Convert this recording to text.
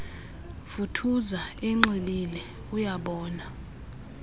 vuthuza enxilile uyabona